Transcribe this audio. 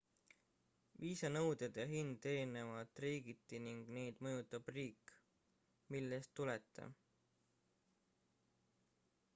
viisa nõuded ja hind erinevad riigiti ning neid mõjutab riik millest tulete